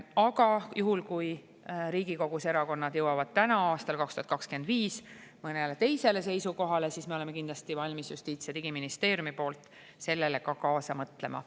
Aga juhul, kui Riigikogus erakonnad jõuavad täna, aastal 2025, mõnele teisele seisukohale, siis me kindlasti oleme Justiits- ja Digiministeeriumis valmis kaasa mõtlema.